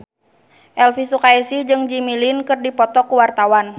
Elvy Sukaesih jeung Jimmy Lin keur dipoto ku wartawan